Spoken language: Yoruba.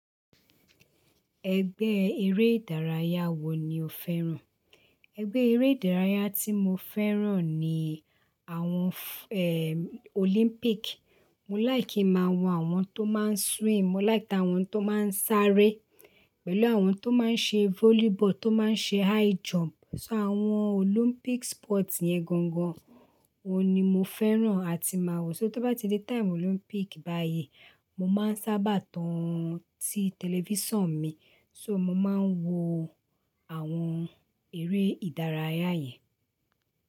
Ẹgbẹ́ eré ìdárayá wo ni o fẹ́ràn? Ẹgbẹ́ eré ìdárayá tí mo fẹ́ràn ni àwọn, eh, Olympic. Mo láì kí máa wo àwọn tó máa ń swim, mo láì kí a àwọn tó máa ń sáré, pẹ̀lú àwọn tó máa ń ṣe volleyball, tó máa ń ṣe high jump. So àwọn Olympic sport yẹn gangan wo ni mo fẹ́ràn àti máa wo. So tó bá ti dé time Olympic báyìí, mo máa ń sábà tan tí television mi, so mo máa ń wo àwọn eré ìdárayá yẹn.